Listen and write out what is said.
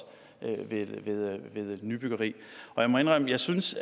ved nybyggeri jeg må indrømme at jeg synes